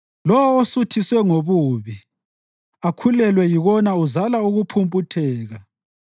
Lowo osuthiswe ngobubi akhulelwe yikona uzala ukuphumputheka.